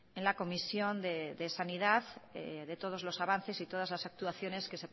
en la comisión de sanidad de todos los avances y todas las actuaciones que